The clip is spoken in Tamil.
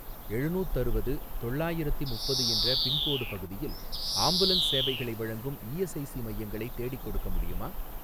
எழுநூத்தருவது தொள்ளாயிரத்தி முப்பது என்ற பின்கோடு பகுதியில் ஆம்புலன்ஸ் சேவைகளை வழங்கும் இஎஸ்ஐஸி மையங்களை தேடிக்கொடுக்க முடியுமா?